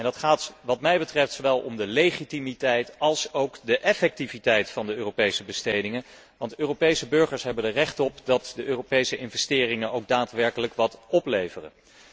Hierbij gaat het wat mij betreft zowel om de legitimiteit als de effectiviteit van de Europese bestedingen, want Europese burgers hebben er recht op dat de Europese investeringen ook daadwerkelijk wat opleveren.